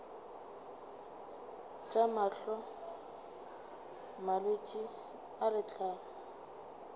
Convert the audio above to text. tša mahlo malwetse a letlalo